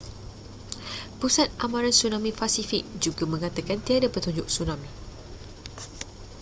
pusat amaran tsunami pasifik juga mengatakan tiada petunjuk tsunami